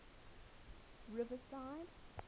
riverside